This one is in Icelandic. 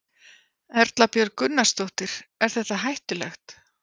Erla Björg Gunnarsdóttir: Er þetta hættulegt?